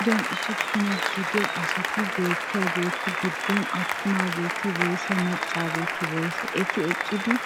Payduwaan usuppunaa gidiyaa asati beettiyaagetu giddoppe attumaageeti woysee maccageti woysee? eti eqqidi